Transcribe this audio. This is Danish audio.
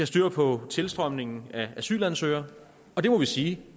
styr på tilstrømningen af asylansøgere og det må vi sige